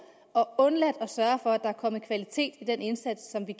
og undladt at sørge for at der er kommet kvalitet i den indsats som vi